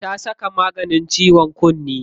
Ta saka maganin ciwon kunne.